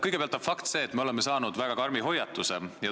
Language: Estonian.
Kõigepealt on fakt see, et me oleme saanud väga karmi hoiatuse.